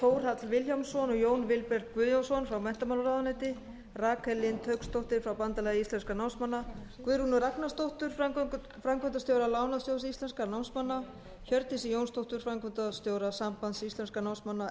þórhall vilhjálmsson og jón vilberg guðjónsson frá menntamálaráðuneyti rakel lind hauksdóttur frá bandalagi íslenskra námsmanna guðrúnu ragnarsdóttur framkvæmdastjóra lánasjóðs íslenskra námsmanna hjördísi jónsdóttur framkvæmdastjóra sambands íslenskra námsmanna